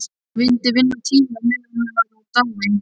Hún vildi vinna tíma á meðan hann var í dái.